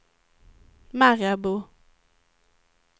Marabou